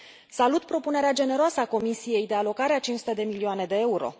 Salut propunerea generoasă a Comisiei de alocare a 500 de milioane de euro.